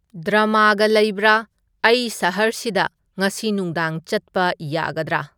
ꯗ꯭ꯔꯃꯒ ꯂꯩꯕꯔ ꯑꯩ ꯁꯍꯔꯁꯤꯗ ꯉꯁꯤ ꯅꯨꯗꯥꯡ ꯆꯠꯄ ꯌꯥꯒꯗꯔ